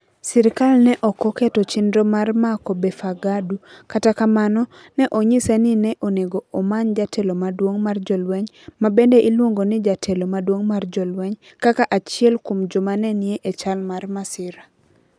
Sirkal ne ok oketo chenro mar mako Befeqadu, kata kamano, ne onyise ni ne onego omany jatelo maduong ' mar jolweny (ma bende iluongo ni jatelo maduong ' mar jolweny) kaka achiel kuom joma ne ni e chal mar masira.